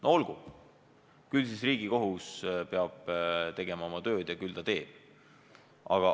No olgu, eks siis Riigikohus peab tegema oma tööd ja küll ta teeb.